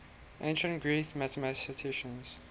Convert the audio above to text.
ancient greek mathematicians